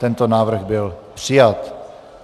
Tento návrh byl přijat.